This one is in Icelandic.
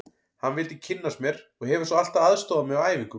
Hann vildi kynnast mér og hefur svo alltaf aðstoðað mig á æfingum.